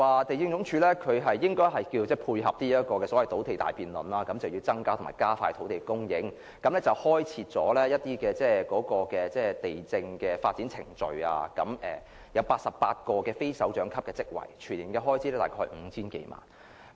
地政總署要配合土地大辯論，增加和加快土地供應，因此制訂了土地發展程序，並增設88個非首長級職位，全年預算開支約 5,000 萬元。